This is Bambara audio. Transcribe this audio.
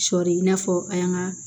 Sɔɔri i n'a fɔ an y'an ka